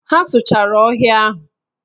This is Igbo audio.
Ha sụchara ọhịa ahụ.